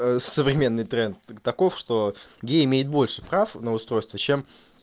современный тренд таков что гей имеет больше прав на устройство чем